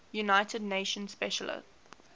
united nations special